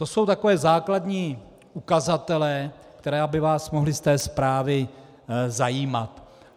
To jsou takové základní ukazatele, které by vás mohly z té zprávy zajímat.